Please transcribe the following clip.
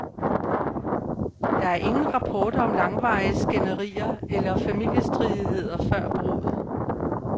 Der er ingen rapporter om langvarige skænderier eller familiestridigheder før bruddet.